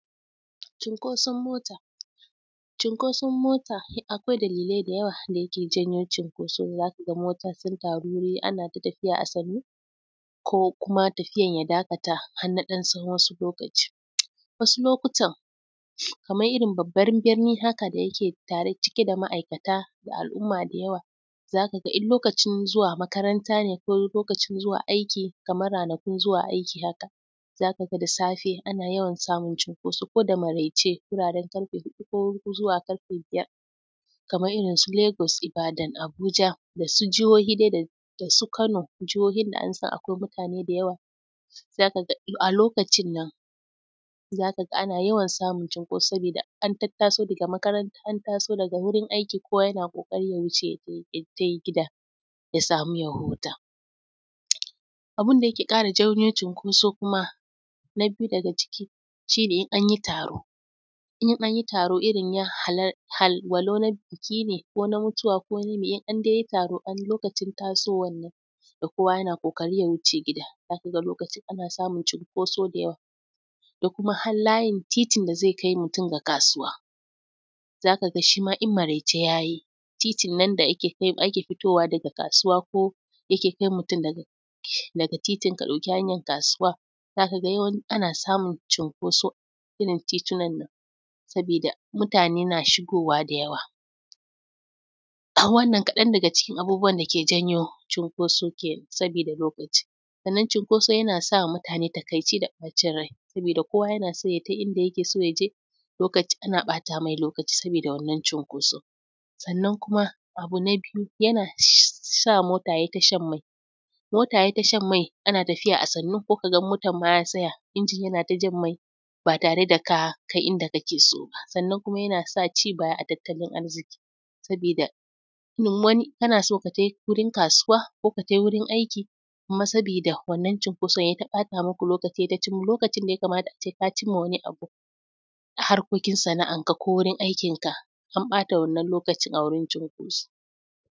Cikoson mato, cinkoson mota akwai dalilai da yawa da yake janyo cikkoso za ka ga mota sun taru ana ta tafiya a sunnu ko kuma tafiyar ya dakata har na wasu ɗan tsawon lokaci, wasu lokatan kanar irin babban birnin ne tare cikie da ma aikata da al'umma da yawa za ka ga duk lokacin zuwa makaranta ne ko lokacin zuwa aiki kamar ranaku zuwa aiki hakan, za ka ga da safe ana yawan samun cinkoso ko da maraice ko zuwa karfe biyar kamar irinsu lagos, Ibadan, Abuja da su jihohi dai da su kano. Jihohin da an san akwai mutane da yawa za ka ga a lokacin nan. Za ka ga aana yawan samun cinkoso saboda an tattaso daga makaranta, an taso daga wurin aiki kowa yana ƙoƙarin ya wuce ya je gida ya samu ya huta. Abun da yake ƙara janyo cinkoso kuma na viyu daga ciki shi ne. In an yi taro. Irin walau na biki ne ko na mutuwa ko na wani meye, indai an yi taro lokacin tasowan nan. Da kowa yana ƙoƙarin ya wuce gida za ka ga aba samun cinkoso da yawa da kuma har layin tatin da zai kai mutum ga kasuwa. Za ka ga shi ma idan maraice ya yi titin nan da ake fito da daga kasuwa. Ko yake kai mutum daga titin ka ɗauki hanyar kasuwa za ka ga yawanci ana samun cinkoso a a irin titinan nan. Saboda mutane na shigowa da yawa Wannan kaɗan daga cikin abubuwan da suke janyo cinkoso kenan saboda lokaci. Sannan cinkoso yana sa mutane takaice da bacin rai saboda kowa yana son idan yake son ya ce ana ɓata masa lokaci saboda wannan cinkoso. Sannan kuma, abu na biyu yana sa mota yayl yi ta shan mai. Mota ya yi ta shan mai yana tafiya a sannu sai ka ga motar ma ya tsaya injin yana ta jan mai ba tare da ka kai inda kake so ba. Sannan kuma yana sa ci baya a tattalin arziki saboda wani kana so ka je wurin kasuwa ko ka tai wurin aiki amma saboda wannan cinkoso lokacin da ya kamata ka kai wajen harkokin sana'arka ko aikin ka an bata wannan lokaci a wurin cinkoso.